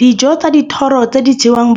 Dijo tsa dithoro tse di jewang